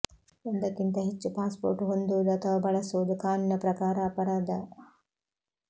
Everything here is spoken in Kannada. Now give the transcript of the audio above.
ಒಂದಕ್ಕಿಂತ ಹೆಚ್ಚು ಪಾಸ್ ಪೋರ್ಟ್ ಹೊಂದುವುದು ಅಥವಾ ಬಳಸುವುದು ಕಾನೂನಿನ ಪ್ರಕಾರ ಅಪರಾಧ